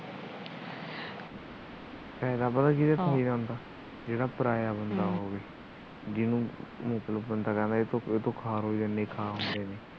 ਇਹ ਪਤਾ ਕਿਵੇ ਫਿਰੀ ਜਾਂਦਾ ਜਿਵੇ ਪਰਾਇਆ ਬੰਦਾ ਹੋਵੇ ਜਿਹਨੂੰ ਮਤਲੱਬ ਬੰਦਾ ਕਹਿੰਦਾ ਵੀ ਤੂੰ ਹੋਇ ਜਾਂਦੀ ਹੋਏ ਜਾਂਦੀ